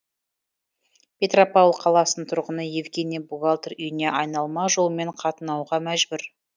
петропавл қаласының тұрғыны евгений бухгалтер үйіне айналма жолмен қатынауға мәжбүр